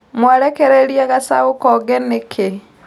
Mwarekereria gacaũ konge nĩkĩ.